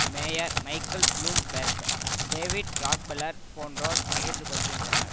mayor Michael Bloomberg David Rockefeller போன்றோர் பகிர்ந்து கொள்ளுகின்றனர்